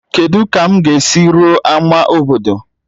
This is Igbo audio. Kedu ka m ga-esi ruo ama obodo?